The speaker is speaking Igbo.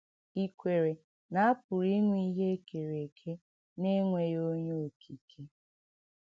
Ì kwèrè nà à pụrụ ìnwè íhè e kèrè èkè n’ènwèghì ònyé Okìkè?